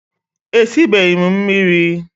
Esibeghị m mmiri